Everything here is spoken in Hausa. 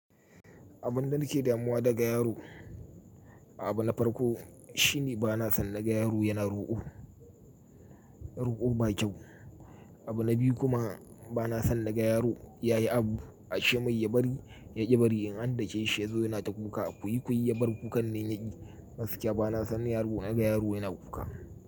Abun da nake damuwa daga yaro, abu na farko shine bana son naga yaro yana roƙo. Roƙo ba kyau. Abu na biyu kuma bana so naga yaro ya yi abu a shemai ya bari yaƙi bari in an dake shi ya zo yana ta kuka. Kuyi kuyi ya bar kukan nan yaƙi gaskiya bana son yaro naga yaro yana kuka.